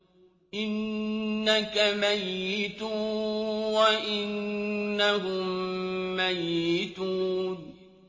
إِنَّكَ مَيِّتٌ وَإِنَّهُم مَّيِّتُونَ